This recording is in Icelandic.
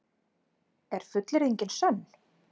Er fullyrðingin sönn?